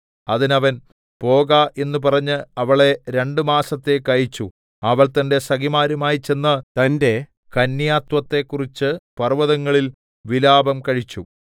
അതിന് അവൻ പോക എന്നു പറഞ്ഞ് അവളെ രണ്ടു മാസത്തേക്ക് അയച്ചു അവൾ തന്റെ സഖിമാരുമായി ചെന്ന് തന്റെ കന്യാത്വത്തെക്കുറിച്ച് പർവ്വതങ്ങളിൽ വിലാപം കഴിച്ചു